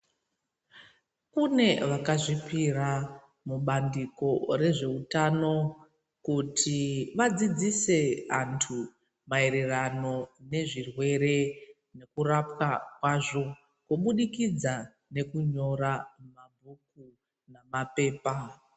Kunevakazvipira mubandiko rezveutano kuti vadzidzise antu maererano nezvirwere nekurapwa kwazvo kubudikidza nekunyora mabhuku namaphepa.